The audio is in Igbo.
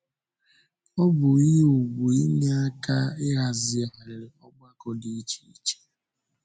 Ọ bụ ihe ùgwù inye aka ịhazigharị ọgbakọ dị iche iche.